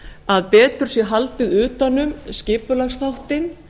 að betur sé haldið utan um skipulagsþáttinn